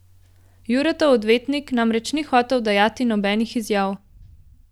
Juretov odvetnik namreč ni hotel dajati nobenih izjav.